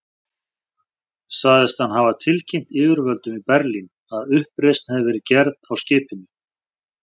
Sagðist hann hafa tilkynnt yfirvöldum í Berlín, að uppreisn hefði verið gerð á skipinu.